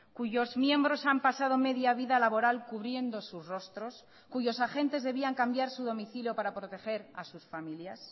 cuyos miembros han pasado media vida laboral cubriendo sus rostros cuyos agentes debían cambiar su domicilio para proteger a sus familias